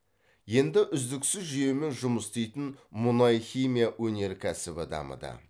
енді үздіксіз жүйемен жұмыс істейтін мұнай химия өнеркәсібі дамыды